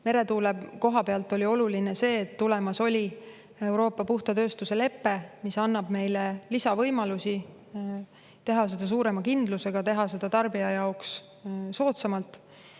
Meretuule koha pealt oli oluline see, et tulemas oli Euroopa puhta tööstuse lepe, mis annab meile lisavõimalusi teha seda suurema kindlusega, teha seda tarbija jaoks soodsamalt.